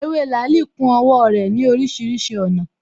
Ewé làálī ku owó rè ní orísirísi ònà